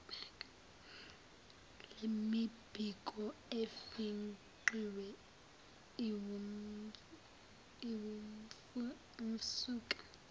lemibiko efingqiwe iwumsuka